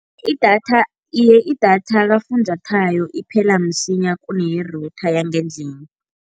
Idatha. Iye, idatha kafunjathwayo iphela msinya kune-router yangendlini.